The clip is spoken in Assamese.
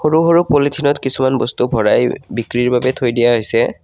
সৰু সৰু পলিথিনত কিছুমান বস্তু ভৰাই বিক্ৰীৰ বাবে থৈ দিয়া হৈছে।